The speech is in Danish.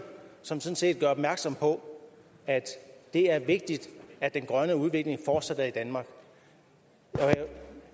som sådan set gør opmærksom på at det er vigtigt at den grønne udvikling fortsætter i danmark